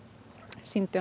sýndu að